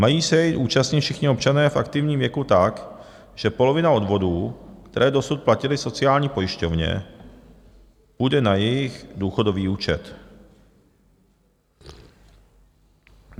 Mají se jej účastnit všichni občané v aktivním věku tak, že polovina odvodů, které dosud platili sociální pojišťovně, půjde na jejich důchodový účet.